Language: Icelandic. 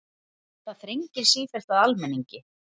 Það þrengir sífellt að almenningi